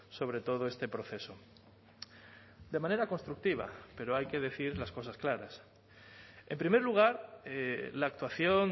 sobre todo este proceso de manera constructiva pero hay que decir las cosas claras en primer lugar la actuación